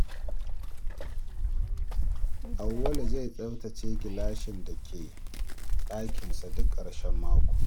Auwalu zai tsabtace gilashin da ke ɗakinsa duk ƙarshen mako.